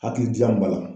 Hakilijan ba la